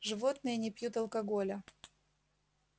животные не пьют алкоголя